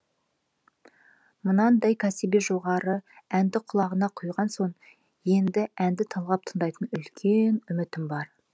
мынадай кәсіби жоғары әнді құлағына құйған соң енді әнді талғап тыңдайтын үлкен үмітім бар